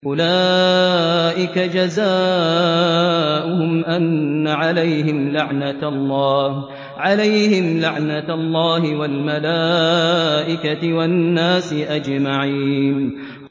أُولَٰئِكَ جَزَاؤُهُمْ أَنَّ عَلَيْهِمْ لَعْنَةَ اللَّهِ وَالْمَلَائِكَةِ وَالنَّاسِ أَجْمَعِينَ